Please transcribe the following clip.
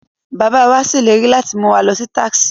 Their father promises to take them to Texas